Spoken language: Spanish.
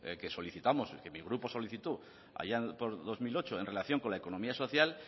que solicitamos que mi grupo solicitó allá por dos mil ocho en relación con la economía social